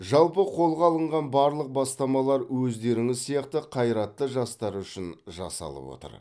жалпы қолға алынған барлық бастамалар өздеріңіз сияқты қайратты жастар үшін жасалып отыр